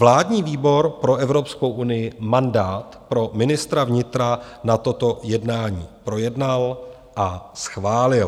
Vládní výbor pro Evropskou unii mandát pro ministra vnitra na toto jednání projednal a schválil.